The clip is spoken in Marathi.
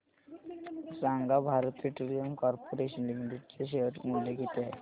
सांगा भारत पेट्रोलियम कॉर्पोरेशन लिमिटेड चे शेअर मूल्य किती आहे